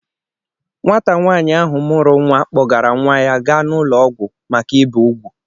Nwata nwaanyị áhù mụ́rụ́ nwa, kpọgara nwa ya gaa n'ụlọ ọgwụ̀ maka ịbè úgwú